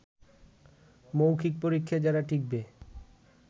মৌখিক পরীক্ষায় যারা টিকবে